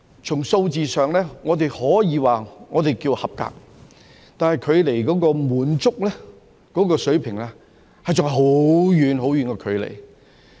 從數字上，我們可說是合格，但是距離滿足水平，還有很遠很遠的距離。